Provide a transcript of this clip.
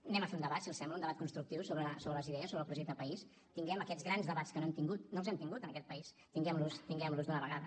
fem un debat si els sembla un debat constructiu sobre les idees sobre el projecte de país tinguem aquests grans debats que no hem tingut no els hem tingut en aquest país tinguem los d’una vegada